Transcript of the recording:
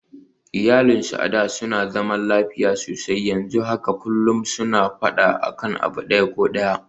Iyalinsu a da suna zaman lafiya sosai, yanzu haka kullum suna faɗa akan abu ɗaya ko ɗaya